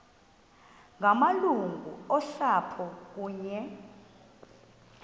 ngamalungu osapho kunye